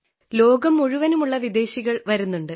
ലോകം മുഴുവനുമുള്ള വിദേശികൾ വരുന്നുണ്ട്